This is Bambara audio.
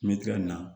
Me tɛgɛ in na